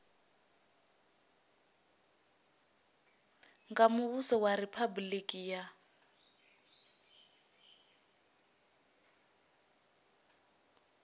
nga muvhuso wa riphabuliki ya